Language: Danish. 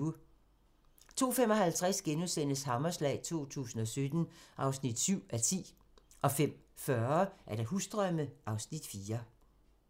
02:55: Hammerslag 2017 (7:10)* 05:40: Husdrømme (Afs. 4)